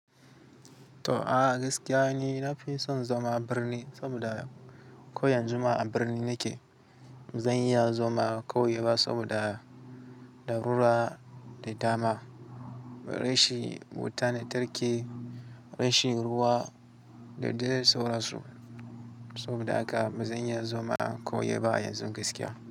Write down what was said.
To, a gaskiya nu na fi son zama a birni saboda ko yan zu ma a birni nake. Zan iya zauna a kauye ba saboda daruwa da dama, rashin, wuta lantarki, rashin ruwa da dai sauran su. Saboda haka ba zan iya zama kauyewa yanzu gaskiya.